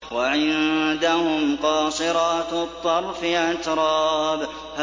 ۞ وَعِندَهُمْ قَاصِرَاتُ الطَّرْفِ أَتْرَابٌ